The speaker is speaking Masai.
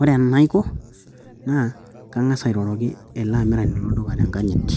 Ore enaiko naa kangas airoroki ele amirani lol duka tenkanyit,